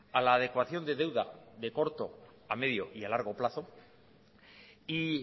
a la adecuación de deuda de corto a medio y a largo plazo y